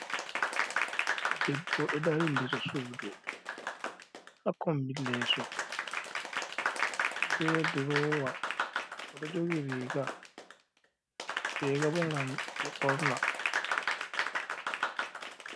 Debbo ɗo dari, ander surdu, hakkombi leso be drowa. Oɗo jogi riga. Riga bo gam ɓe ɓorna.